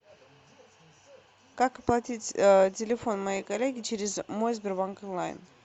как оплатить телефон моей коллеги через мой сбербанк онлайн